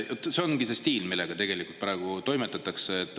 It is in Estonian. See ongi see stiil, millega tegelikult praegu toimetatakse.